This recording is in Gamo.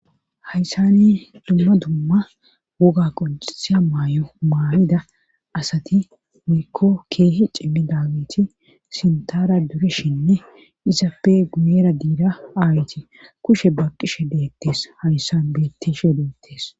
Hayssani dumma dumma woga qoncisiya maay'o maamida asati wykko keehi cimmi daawiti sintara dureshinne izappe guyera diira aayti kushe ba qishe deettes hayssan bettishe deettes